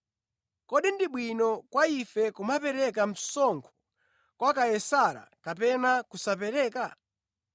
Kodi ndi bwino kwa ife kumapereka msonkho kwa Kaisara kapena kusapereka?”